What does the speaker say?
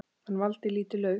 Hann valdi lítið lauf.